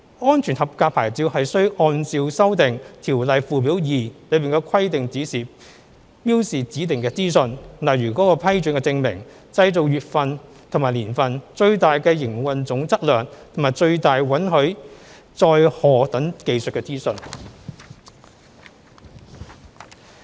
"安全合格牌照"需按照修訂《條例》附表2的規定標示指定的資訊，例如其批准證明、製造月份和年份、最大營運總質量及最大允許載荷等技術資訊。